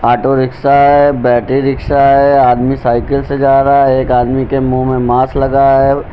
Auto rickshaw है battery rickshaw है आदमी साइकिल से जा रहा है एक आदमी के मुंह में मास्क लगा है।